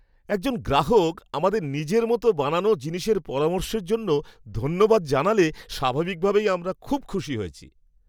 একজন গ্রাহক আমাদের নিজের মতো বানানো জিনিসের পরামর্শের জন্য ধন্যবাদ জানালে স্বাভাবিকভাবেই আমরা খুব খুশি হয়েছি।